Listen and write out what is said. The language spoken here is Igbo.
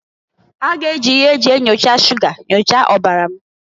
Ha ga-eji ihe e ji enyocha shuga nyochaa ọbara m.